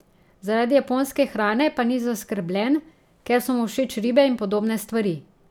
Zaradi japonske hrane pa ni zaskrbljen, ker so mu všeč ribe in podobne stvari.